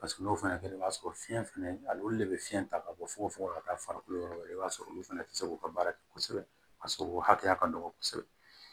Paseke n'o fana kɛra i b'a sɔrɔ fiyɛn fɛnɛ ale de bɛ fiɲɛ ta ka bɔ fogofogo la ka taa farikolo yɔrɔ wɛrɛ i b'a sɔrɔ olu fana tɛ se k'u ka baara kɛ kosɛbɛ a sɔrɔ hakɛya ka dɔgɔ kosɛbɛ